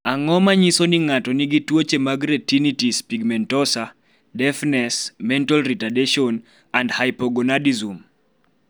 Ang�o ma nyiso ni ng�ato nigi tuoche mag Retinitis pigmentosa, deafness, mental retardation, and hypogonadism?